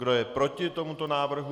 Kdo je proti tomuto návrhu?